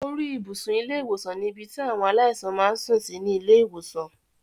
Orí ibùsùn ilé ìwòsàn ní ibi tí àwọn aláìsàn máa ń sùn sí ní ilé ìwòsàn